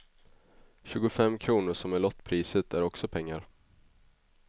Tjugufem kronor som är lottpriset är också pengar.